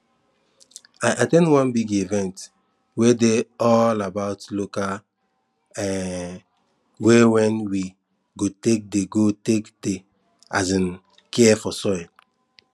i at ten d one big event wey dey all about local um way wen we go take dey go take dey take um care of soil